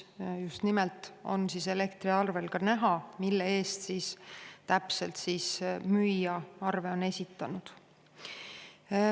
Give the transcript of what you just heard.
Nimelt on elektriarvel ka näha, mille eest täpselt on müüja arve esitanud.